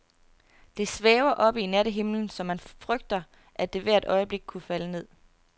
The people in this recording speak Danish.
Det svæver oppe i nattehimlen, så man frygter, at det hvert øjeblik kunne falde ned.